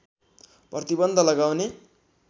प्रतिबन्ध लगाउने